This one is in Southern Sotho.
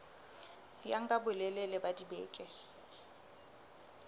ya nka bolelele ba dibeke